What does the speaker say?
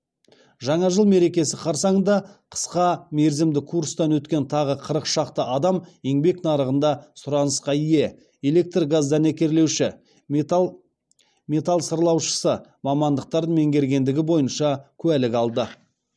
жаңа жыл мерекесі қарсаңында қысқа мерзімді курстан өткен тағы қырық шақты адам еңбек нарығында сұранысқа ие электргаздәнекерлеуші металл сырлаушысы мамандықтарын меңгергендігі бойынша куәлік алады